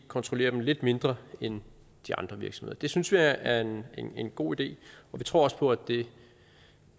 kontrollere dem lidt mindre end de andre virksomheder det synes vi er en en god idé og vi tror også på at det